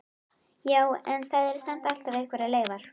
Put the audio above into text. Já, en það eru samt alltaf einhverjar leifar.